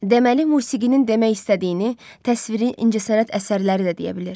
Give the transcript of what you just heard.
Deməli, musiqinin demək istədiyini təsviri incəsənət əsərləri də deyə bilir.